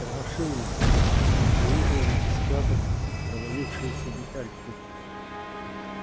тормошил его выуживал из складок провалившиеся детальки